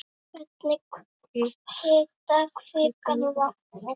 Hvernig hitar kvikan vatnið?